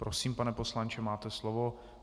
Prosím, pane poslanče, máte slovo.